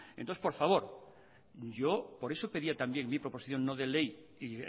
entonces por favor yo por eso pedía también mi proposición no de ley y